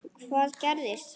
Hvað gerðist þá?